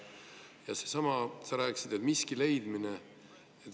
Ja seesama, sa rääkisid, et tuleb see miski leida.